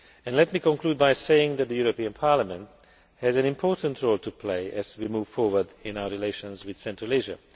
Let me conclude by saying that the European Parliament has an important role to play as we move forward in our relations with Central Asia.